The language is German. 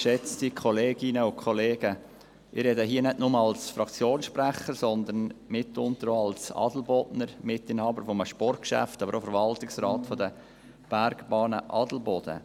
Ich spreche hier nicht nur als Fraktionssprecher, sondern auch als Adelbodner und Mitinhaber eines Sportgeschäfts, aber auch als Mitglied des Verwaltungsrats der Bergbahnen Adelboden.